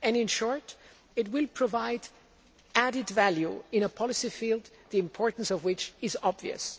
In short, it will provide added value in a policy field, the importance of which is obvious.